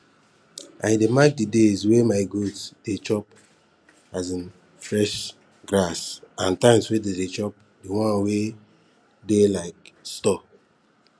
i dey mark days wey my goat dey um chop fresh grass and times wey dey dey chop di one wey dey um store